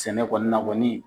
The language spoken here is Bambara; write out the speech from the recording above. Sɛnɛ kɔni na kɔni.